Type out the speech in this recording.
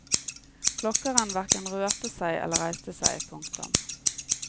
Klokkeren hverken rørte seg eller reiste seg. punktum